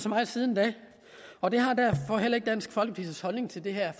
meget siden da og det har dansk folkepartis holdning til det her